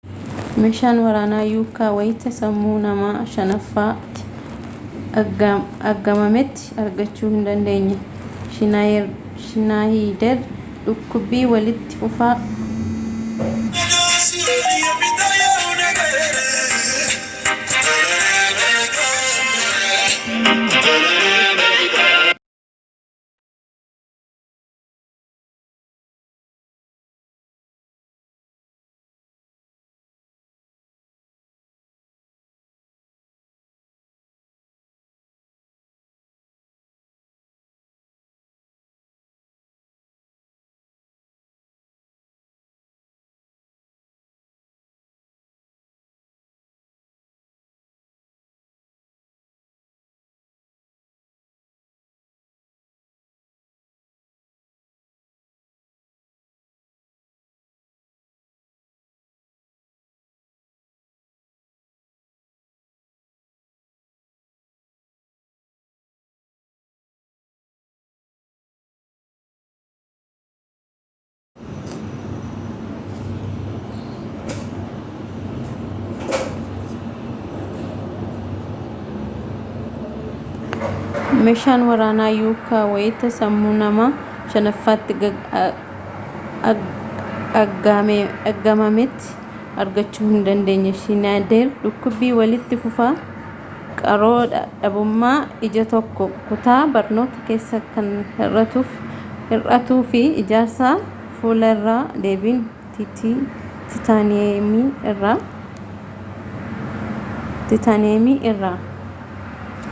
meeshaan waraanaa yuukaa wayita sammuu nama shanaffaatti aggaamametti argachuu hin dandeenye shiinayideer dhukkubii walitti fufaa qaroo dhabumaa ija tokko kutaa barnoota keessa kan hir'atuu fi ijaarsaa fuula irraa deebiin tiitaniiyemii irraa